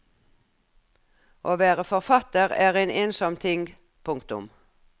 Å være forfatter er en ensom ting. punktum